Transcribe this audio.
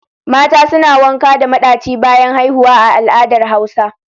Mata suna wanka da madachi bayan haihuwa a al'adar hausa.